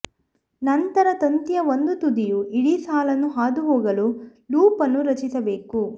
ನಂತರ ತಂತಿಯ ಒಂದು ತುದಿಯು ಇಡೀ ಸಾಲನ್ನು ಹಾದುಹೋಗಲು ಲೂಪ್ ಅನ್ನು ರಚಿಸಬೇಕು